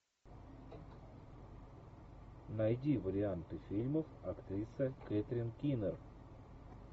найди варианты фильмов актриса кэтрин кинер